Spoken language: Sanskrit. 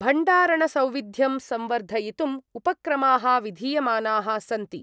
भण्डारणसौविध्यं संवर्धयितुम् उपक्रमाः विधीयमानाः सन्ति।